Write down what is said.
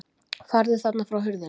Farðu þarna frá hurðinni!